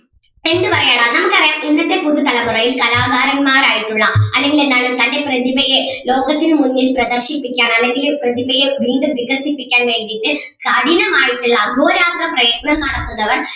എന്ത് പറയാനാ നമുക്ക് അറിയാം ഇന്നത്തെ പുതുതലമുറയിൽ കലാകാരന്മാരായിട്ടുള്ള അല്ലെങ്കിൽ എന്താണ് തൻ്റെ പ്രതിഭയെ ലോകത്തിനു മുന്നിൽ പ്രദർശിപ്പിക്കാൻ അല്ലെങ്കില് പ്രതിഭയെ വീണ്ടും വികസിപ്പിക്കാൻ വേണ്ടീട്ട് കഠിനമായിട്ടുള്ള അഹോരാത്രം പ്രയത്നം നടത്തുന്നവർ